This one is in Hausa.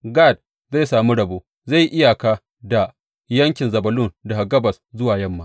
Gad zai sami rabo; zai yi iyaka da yankin Zebulun daga gabas zuwa yamma.